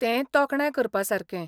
तें तोखणाय करपासारकें.